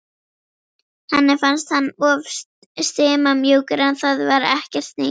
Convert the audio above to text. Henni fannst hann of stimamjúkur en það var ekkert nýtt.